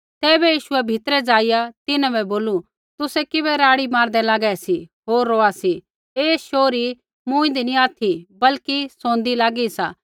तैबै यीशुऐ भीतरै ज़ाइआ तिन्हां बै बोलू तुसै किबै राड़ी मारदै लागै सी होर रोआ सी ऐ शोहरी मूँईदी नी ऑथि बल्कि सोंदी लागी सा